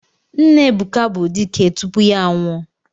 Nna Ebuka bụ dike tupu ya anwụọ.